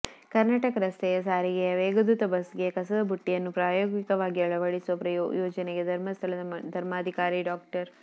ಕರ್ನಾಟಕ ರಸ್ತೆ ಸಾರಿಗೆಯ ವೇಗದೂತ ಬಸ್ ಗೆ ಕಸದ ಬುಟ್ಟಿಯನ್ನು ಪ್ರಾಯೋಗಿಕವಾಗಿ ಅಳವಡಿಸುವ ಯೋಜನೆಗೆ ಧರ್ಮಸ್ಥಳದ ಧರ್ಮಾಧಿಕಾರಿ ಡಾ